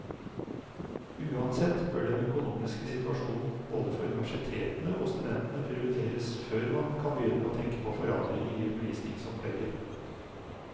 Uansett bør den økonomiske situasjonen både for universitetene og studentene prioriteres før man kan begynne å tenke på forandringer i undervisningsopplegget.